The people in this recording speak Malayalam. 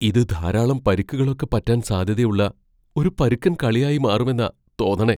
ഇത് ധാരാളം പരിക്കുകളൊക്കെ പറ്റാൻ സാധ്യതയുള്ള ഒരു പരുക്കൻ കളിയായി മാറുമെന്നാ തോന്നണേ.